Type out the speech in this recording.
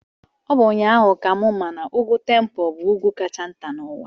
Ọ bụ ụnyaahụ ka m ma na Ugwu Tempo bụ ugwu kacha nta n'ụwa.